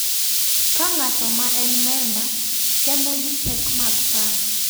Ka ng’ato ma en memba temo gi pek mag paro.